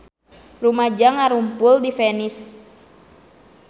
Rumaja ngarumpul di Venice